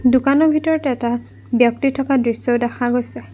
দোকানৰ ভিতৰত এটা ব্যক্তি থকা দৃশ্য দেখা গৈছে।